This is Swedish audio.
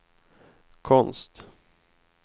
konst